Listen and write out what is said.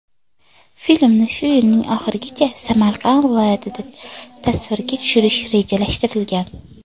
Filmni shu yilning oxirigacha Samarqand viloyatida tasvirga tushirish rejalashtirilgan.